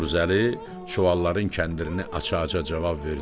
Novruzəli çuvalların kəndirini açacaq cavab verdi: